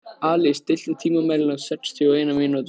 Alís, stilltu tímamælinn á sextíu og eina mínútur.